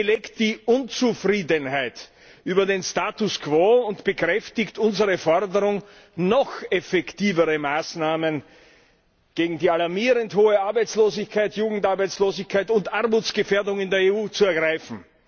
Sie belegt die Unzufriedenheit über den Status quo und bekräftigt unsere Forderung, noch effektivere Maßnahmen gegen die alarmierend hohe Arbeitslosigkeit, Jugendarbeitslosigkeit und Armutsgefährdung in der EU zu ergreifen.